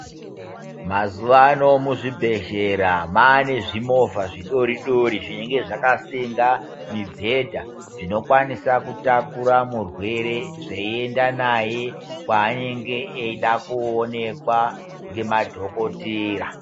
Mazuwa ano muzvibhedhlera mwaane zvimovha zvidori dori zvinenga zvakasenda mubhedha zvinokwanisa kutakura murwere zveienda naye kwaanenge eida kuonekwa ngemadhokotera.